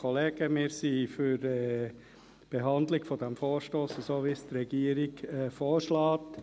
Wir sind für die Behandlung dieses Vorstosses in der Weise, wie es die Regierung vorschlägt.